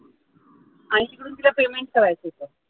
आणि तिला तिकडून payment करायचं होत